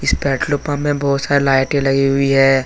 इस petrol pump मे बहोत सारे लाइटे लगी हुई है।